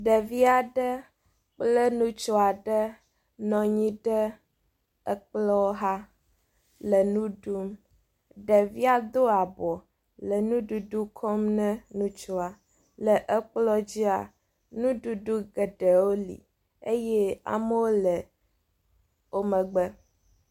Ɖevi aɖe kple ŋutsu aɖe nɔ anyi ɖe ekplɔ xa le nu ɖum. Ɖevia do abɔ le nuɖuɖu kɔm ne ŋutsua le ekplɔ dzia nuɖuɖu geɖewo li eye amewo le wo megbe.